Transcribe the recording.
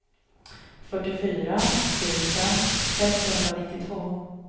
fyrtiofyra tusen sexhundranittiotvå